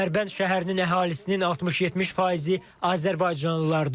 Dərbənd şəhərinin əhalisinin 60-70 faizi azərbaycanlılardır.